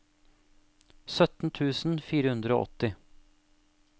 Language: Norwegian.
sytten tusen fire hundre og åtti